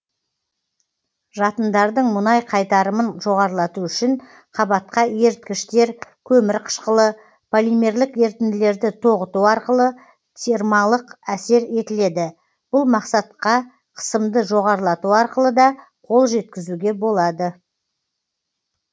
жатындардың мұнай қайтарымын жоғарылату үшін қабатқа еріткіштер көмір қышқылы полимерлік ерітінділерді тоғыту арқылы термалық әсер етіледі бұл мақсатқа қысымды жоғарылату арқылы да қол жеткізуге болады